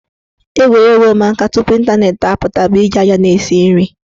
Egwuregwu ụmụaka tupu ịntanetị apụta bụ iji aja na-esi nri.